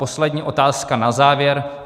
Poslední otázka na závěr.